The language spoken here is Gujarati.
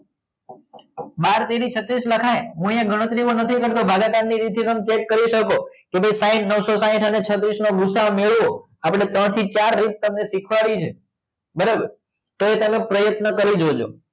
બાર તેરી છત્રીસ લખાય ગુણ્યા ગણતરીમાં નથી કરતો ભાગાકારની રીતે પણ check કરી શકો કે સાઇટ નવસો સાઇટ અને છત્રીસ નો ગુસાઅ મેળવવો આપણે તમને ત્રણથી ચાર રીત શીખવાડી છે બરાબર તોય તમે પ્રયત્ન કરી જોજો